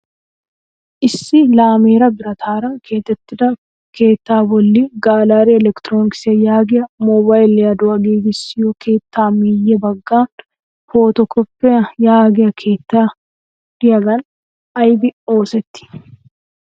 Issi laameeraa birataara keexxettida keettaa bolli galleri elektrooniks yaagiyaa mobayliyaduwa giigissiyo keetta meyye baggan pooto koppi yaagiya keettay diyagan ayibi oosetti?